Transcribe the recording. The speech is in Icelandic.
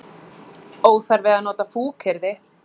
Óþarfi að nota fúkyrði.